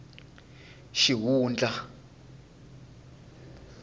xihundla